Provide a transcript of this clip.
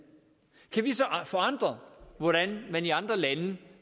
kan vi så forandre hvordan man i andre lande